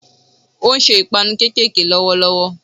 Ó n se 'ìpanu kékèké' lówó lówó